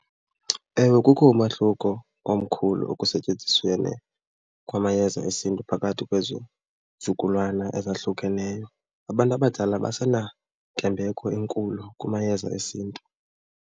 Ewe, kukho umahluko omkhulu ekusetyenzisweni kwamayeza esiNtu phakathi kwezi zukulwana ezahlukeneyo. Abantu abadala basenantembeko enkulu kumayeza esiNtu.